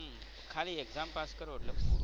ખાલી exam pass કરો એટલે પૂરું.